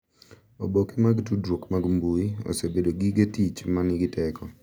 Oboke mag tudruok mag mbui osebedo gige tich ma nigi teko